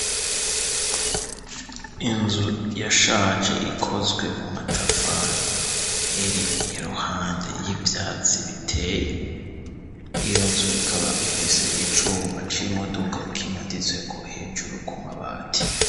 Inzu yashaje ikozwe mu matafari iri iruhande y'ivyatsi biteye ,iyo nzu ikaba ifise icuma c'imodoka kimaditsweko hejuru ku mabati.